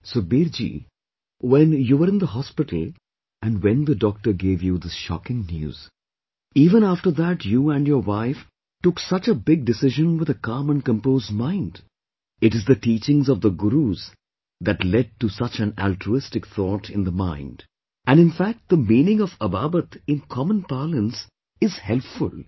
Sukhbir ji, when you were in the hospital and when the doctor gave you this shocking news, even after that you and your wife took such a big decision with a calm and composed mind, it is the teachings of the Gurus that led to such an altruistic thought in the mind and in fact the meaning of Ababat in common parlance is helpful